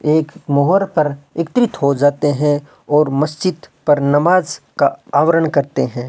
एक मोहर पर एकत्रित हो जाते हैं और मस्जिद पर नमाज का आवरण करते हैं।